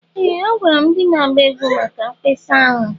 Ee! Agwara m ndị na-agba egwu maka mkpesa ahụ.